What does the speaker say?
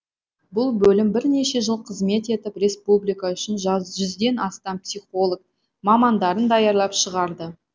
бұл бөлім бірнеше жыл қызмет етіп республика үшін жүзден астам психолог мамандарын даярлап шығарды